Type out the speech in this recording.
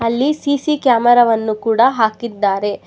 ಇಲ್ಲಿ CC camera ವನ್ನು ಕೂಡ ಹಾಕಿದ್ದಾರೆ.